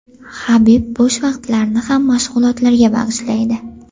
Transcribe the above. Habib bo‘sh vaqtlarini ham mashg‘ulotlarga bag‘ishlaydi.